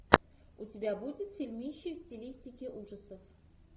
у тебя будет фильмище в стилистике ужасов